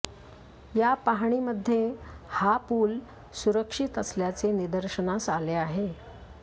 या पाहणीमध्ये हा पूल सुरक्षित असल्याचे निदर्शनास आले आहे